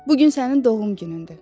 Bu gün sənin doğum günündür.